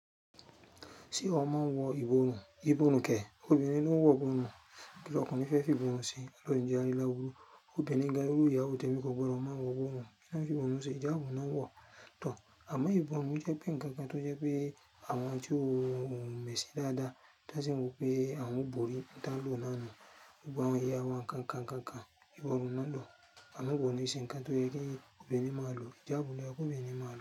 Ṣé ọ mọ́ wọ ìborùn? Ìborùn kẹ̀, obìnrin ló ń wọ ìborùn, kí lọkùnrin fẹ́ fi ìborùn se, Ọlọ́run ò ní jẹ́ ká rí láburú. Obìnrin gan irú ìyàwó tèmi gan kò gbọdọ̀ mọ wọ ìborùn, kí ní wọ́n fi ìborùn se, ìjáàbù ni wọ́n n wọ̀. Àmọ́ ìborùn jẹ́ pé nkankan tó jẹ́ pé àwọn tí wón ò ń mẹ̀sìn dáadáa, tí wọ́n sì n wòó pé àwọn ó borí ihun tí wön n lò náà nù-un. Gbogbo àwọn ìyà wa nkankan nkankan, ìborùn ni wọ́n n lò. Àwọn ìbòrùn ò n se nkan tó yẹ́ kí obìnrin máa lò, ìjáàbù ló yẹ kò obìnrin máa lò.